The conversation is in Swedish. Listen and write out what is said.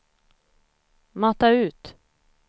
mata ut